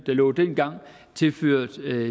lå dengang tilført